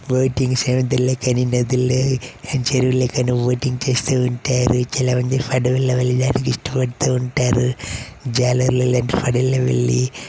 Boating seven Telangana నధిల్లో చెరువుల్లో boating చేస్తూఉంటారు. చాల మంది ఫడవల్లో వెళ్లి దాన్ని కి ఇష్టపడుతూవుంటారు. జాలర్ల లెక్క ఫేడవల్లో వెళ్ళీ --